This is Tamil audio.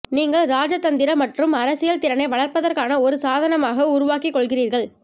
நீங்கள் இராஜதந்திர மற்றும் அரசியல் திறனை வளர்ப்பதற்கான ஒரு சாதனமாக உருவாக்கிக் கொள்கிறீர்கள்